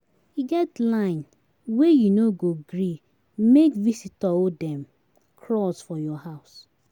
E get line wey you no go gree make visitor um dem cross for your house.